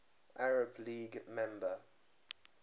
arab league member